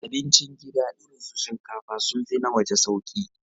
Abincin gida irin su shinkafa sun fi na waje sauƙi.